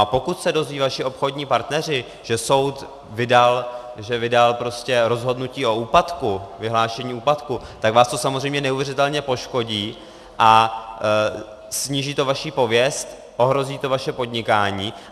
A pokud se dozvědí vaši obchodní partneři, že soud vydal rozhodnutí o úpadku, vyhlášení úpadku, tak vás to samozřejmě neuvěřitelně poškodí a sníží to vaši pověst, ohrozí to vaše podnikání.